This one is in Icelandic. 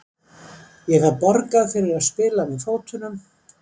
Ég fæ borgað fyrir að spila með fótunum.